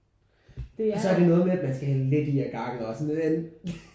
Og så er det noget med at man skal hælde lidt i ad gangen og sådan